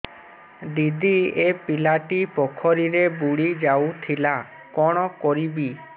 ଦିଦି ଏ ପିଲାଟି ପୋଖରୀରେ ବୁଡ଼ି ଯାଉଥିଲା କଣ କରିବି